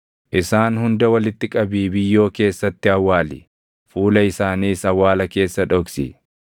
Isaan hunda walitti qabii biyyoo keessatti awwaali; fuula isaaniis awwaala keessa dhoksi.